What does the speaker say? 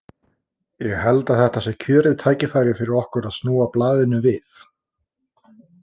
Ég held að þetta sé kjörið tækifæri fyrir okkur til að snúa blaðinu við.